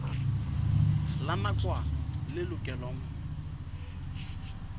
la nakwana le lokelwang ho